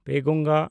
ᱯᱮᱱᱜᱚᱝᱜᱟ